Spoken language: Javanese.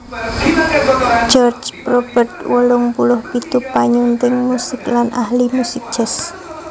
George Probert wolung puluh pitu panyunting musik lan ahli musik jazz